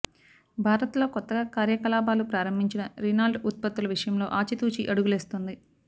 భారత్లో కొత్తగా కార్యకాలాపాలు ప్రారంభించిన రీనాల్ట్ ఉత్పత్తుల విషయంలో ఆచి తూచి అడుగులేస్తోంది